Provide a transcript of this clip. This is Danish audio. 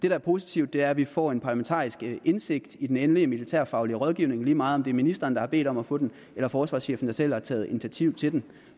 er positivt er at vi får en parlamentarisk indsigt i den endelige militærfaglige rådgivning lige meget om det er ministeren der har bedt om at få den eller forsvarschefen der selv har taget initiativ til den